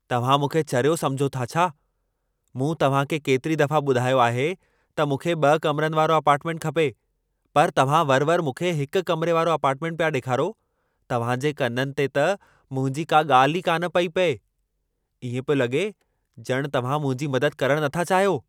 तव्हां मूंखे चरियो समुझो था छा ? मूं तव्हांखे केतिरी दफ़ा ॿुधायो आहे त मूंखे ब॒ कमरनि वारो अपार्टमेंटु खपे पर तव्हां वरि-वरि मूंखे हिकु कमरे वारो अपार्टमेंटु पिया ॾेखारो । तव्हांजे कननि ते त मुंहिंजी का ॻाल्हि ई कान पेई पए। ईंअ पियो लॻे ज॒ण तव्हीं मुंहिंजी मदद करणु नथा चाहियो।